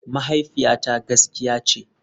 Mahaifiyata gaskiya ce.